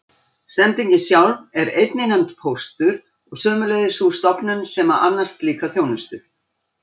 Sendingin sjálf er einnig nefnd póstur og sömuleiðis sú stofnun sem annast slíka þjónustu.